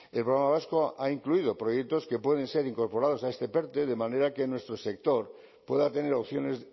el programa vasco ha incluido proyectos que pueden ser incorporados a este perte de manera que nuestro sector pueda tener opciones